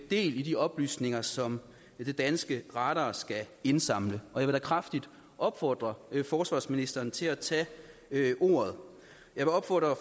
del i de oplysninger som den danske radar skal indsamle og jeg vil da kraftigt opfordre forsvarsministeren til at tage ordet jeg vil opfordre